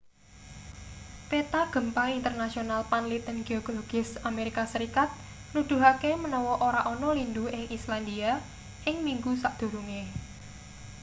peta gempa internasional panliten geologis amerika serikat nuduhake manawa ora ana lindhu ing islandia ing minggu sadurunge